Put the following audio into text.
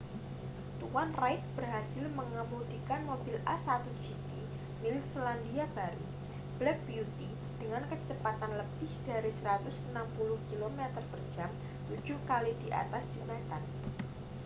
tuan reid berhasil mengemudikan mobil a1 gp milik selandia baru black beauty dengan kecepatan lebih dari 160 km/jam tujuh kali di atas jembatan